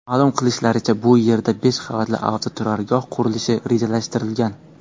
Ma’lum qilishlaricha, bu yerda besh qavatli avtoturargoh qurilishi rejalashtirilgan.